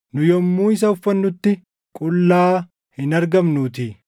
nu yommuu isa ufannutti qullaa hin argamnuutii.